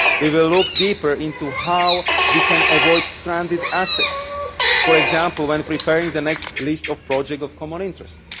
We will look deeper into how we can avoid stranded assets, for example when preparing the next list of Projects of Common Interest.